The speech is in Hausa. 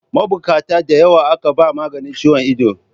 Mabukata da yawa aka ba maganin ciwon ido.